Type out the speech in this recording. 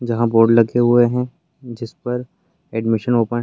जहाँ बोर्ड लगे हुए हैं जिसपर एडमिशन ओपन --